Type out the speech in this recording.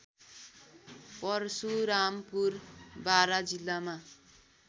परशुरामपुर बारा जिल्लामा